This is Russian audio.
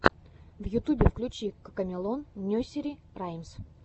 в ютубе включи кокомелон несери раймс